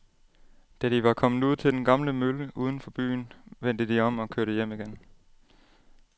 Da de var kommet ud til den gamle mølle uden for byen, vendte de om og kørte hjem igen.